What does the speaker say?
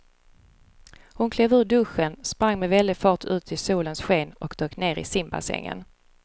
Hon klev ur duschen, sprang med väldig fart ut i solens sken och dök ner i simbassängen.